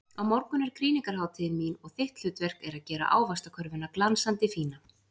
Á morgun er krýningarhátíðin mín og þitt hlutverk er að gera ávaxtakörfuna glansandi fína.